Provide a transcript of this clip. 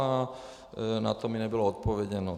A na to mi nebylo odpovězeno.